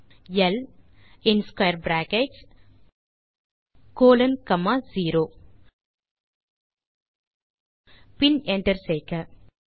நாம் இப்படி அதை அணுகலாம் ல் இன் square brackets colon comma zero பின் என்டர் செய்க